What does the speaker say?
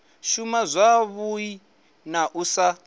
shuma zwavhui na u sa